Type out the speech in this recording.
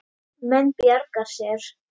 Menn bjarga sér.